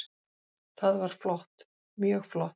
Það var flott, mjög flott.